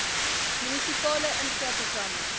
munisipale infra programme